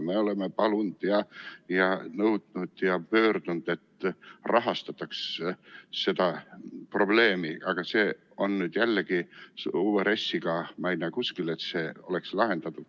Me oleme palunud ja nõudnud ja pöördunud, et rahastataks seda probleemi, aga nüüd uues RES-is ma ei näe jälle kuskil, et see oleks lahendatud.